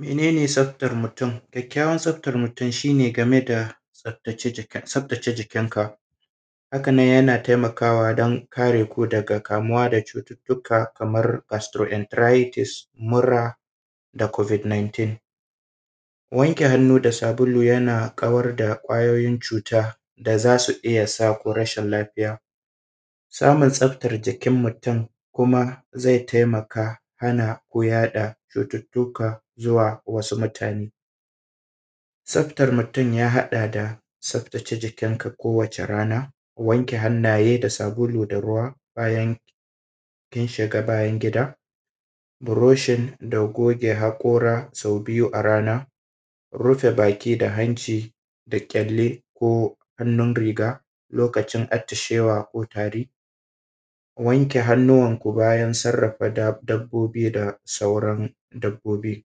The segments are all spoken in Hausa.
Mene ne tsaftar mutum? ƙyaƙkyawan tsaftar mutum shi ne game da tsaftace tsaftace jikin ka, hakan nan yana taimakawa don kare ku daga kamuwa da cututtuka kamar perstro entritise, murna da covid 19, wanke hannu da sabulu yana kawar da ƙwayoyin cuta da zasu iya saku rashi lafiya samun tsftar jikin mutum kuma zai taimaka hana ku yaɗa cututtuka zuwa wasu mutane, tsaftar mutum ya haɗa da tsaftace jikin ka kowane rana wanke hannaye da sabulu da ruwa bayan kin shiga bayan gida, buroshin da goje hakora sau biyu a rana rufe baki da hanci da kyalle ko hannun riga lokacin atishewako ko tari, wanke hannuwanku bayan sarrafa dab dabbobi da sauran dabbobi,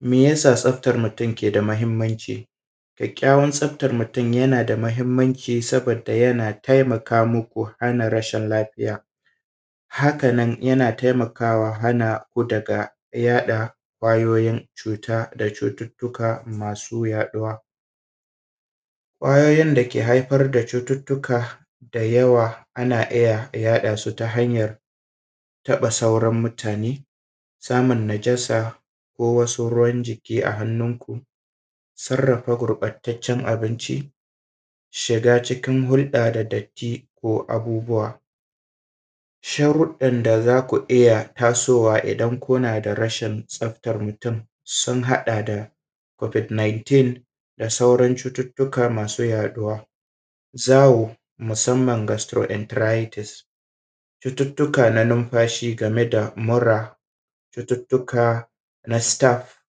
me yasa tsaftar mutum ke da mahimmanci? kyakkyawan tsaftar mutum yana da mahimmanci saboda yana taimakamu ku hanna rashin lafiya haka nan yana taimakawa hana ku daga yaɗa ƙwayoyin cuta da cututtuka masu yaɗuwa, ƙwayoyin dake haifar da cututtuka da yawa ana iya yaɗa suta hanyar taɓa sauran mutane, samun najasa ko wasu ruwan jiki a hannun ku, sarrafa gurɓataccan abinci, shi cikin hurɗa da datti ko abububwa, sharruɗan da zaku iya tasowa idan kuna da rashin tsaftan mutum sun haɗa da covid 19, da sauran cututtuka masu yaɗuwa, zawo masamman gastro entrayitise, cututtuka na numfashi game da mura, cututtuka na staff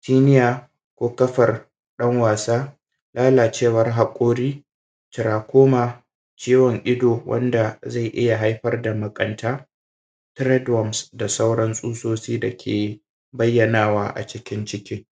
senior ko ƙafar ɗan wasa, lalacewar haƙori, “glaucoma” ciwon ido, wanda zai iya haifar da nuƙanta, treat warms, da sauran tsutsutsi dake bayyanawa a cikin ciki.